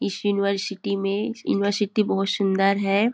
इस यूनिवर्सिटी में यूनिवर्सिटी बहोत सुंदर है।